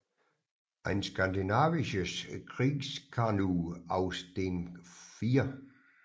Ein skandinavisches Kriegskanu aus dem 4